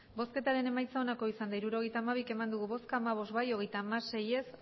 bozkatu dezakegu hirurogeita hamabi eman dugu bozka hamabost bai hogeita hamasei ez